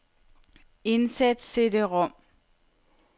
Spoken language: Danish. Indsæt cd-rom.